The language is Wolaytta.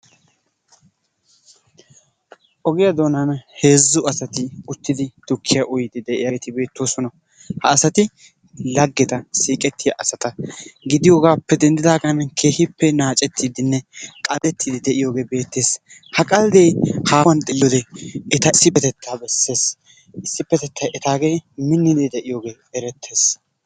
Ogiya doonan heezzu asati uttidi tukkiya uyidi diyageti beetosona. ha asati laggeta siiqetiyageta gidiyogappe denddigan keehippe naacetidine qaldetidi diyoge beetees. ha qaldde hahuwan xeeliyode eta issipetetta beeses. Issipetettay etage minnidi deiyoge eretees.